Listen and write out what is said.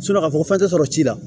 k'a fɔ fɛn tɛ sɔrɔ ji la